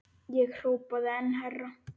Ég hrópaði enn hærra.